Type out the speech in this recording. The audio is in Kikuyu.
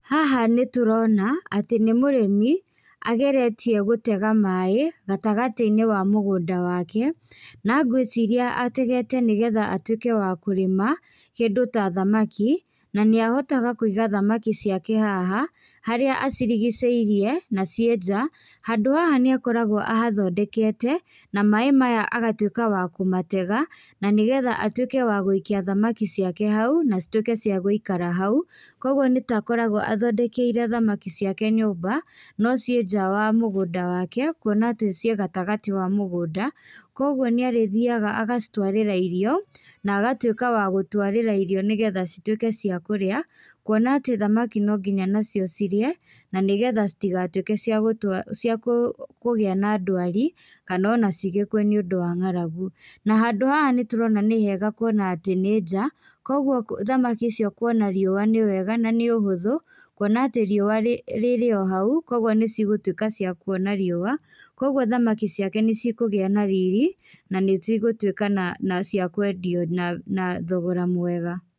Haha nĩtũrona, atĩ nĩ mũrĩmi, ageretie gũtega maĩ, gatagatĩ-inĩ wa mũgũnda wake, na ngwĩciria ategete nĩgetha atuĩke wa kũrĩma kĩndũ ta thamaki, nanĩahotaga kũiga thamaki ciake haha, harĩa acirigicĩirie, na ciĩ njaa, handũ haha nĩakoragwo ahathondekete, na maĩ maya agatuĩka wa kũmatega, nanĩgetha atwĩke wa gũikia thamaki ciake hau, nacitwĩke cia gũikara hau, koguo nĩtakoragwo athondekeire thamaki ciake nyũmba, nociĩ njaa wa mũgũnda wake, kuona atĩ ciĩ gatagatĩ wa mũgũnda, kwoguo nĩarĩthiaga agacitwarĩra irio, nagatwĩka wagũtwarĩra irio nĩgetha citwĩke cia kũrĩa, kuona atĩ thamaki nonginya nacio cirĩe, nanĩgetha citigatwĩke ciagũtua, ciakũ, kũgĩa na ndwari, kanona cigĩkue nĩũndũ wa ng'aragu. Na handũ haha nĩtũrona nĩ hega kuona atĩ nĩ njaa koguo kũ thamaki icio kuona riũa nĩ wega nanĩ ũhũthũ, kuona atĩ riũa rĩ rĩrĩ ohau, kwoguo nĩcigũtwĩka cia kuona riũa, kwoguo thamaki ciake nĩcikũgĩa na riri, nanĩcigũtuĩka na na ciakwendio na na thogora mwega.